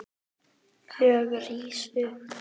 Ég rís upp.